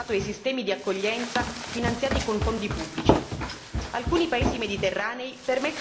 frutta milioni di dollari, così come quello legato ai sistemi di accoglienza finanziati con fondi pubblici.